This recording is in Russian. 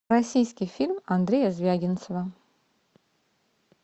российский фильм андрея звягинцева